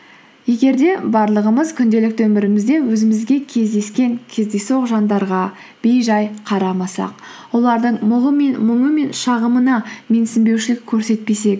егер де барлығымыз күнделікті өмірімізде өзімізге кездескен кездейсоқ жандарға бейжай қарамасақ олардың мұңы мен шағымына менсінбеушілік көрсетпесек